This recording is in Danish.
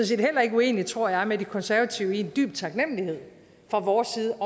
set heller ikke uenige tror jeg med de konservative i en dyb taknemlighed fra vores side